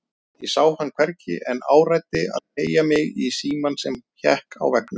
Ég sá hann hvergi en áræddi að teygja mig í símann sem hékk á veggnum.